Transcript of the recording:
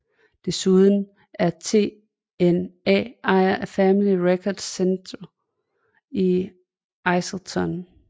Desuden er TNA ejer af Family Records Centre i Islington